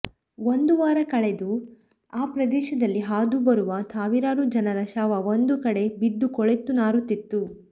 ಒಂದು ವಾರ ಕಳೆದು ಆ ಪ್ರದೇಶದಲ್ಲಿ ಹಾದು ಬರುವಾಗ ಸಾವಿರಾರು ಜನರ ಶವ ಒಂದು ಕಡೆ ಬಿದ್ದು ಕೊಳೆತು ನಾರುತ್ತಿತ್ತು